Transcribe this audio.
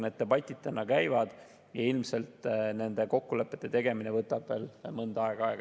Need debatid täna käivad ja ilmselt nende kokkulepete tegemine võtab veel aega.